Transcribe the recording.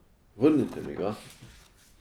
Vrnite mi ga.